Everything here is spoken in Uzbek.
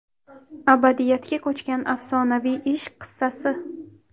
Abadiyatga ko‘chgan afsonaviy ishq qissasi.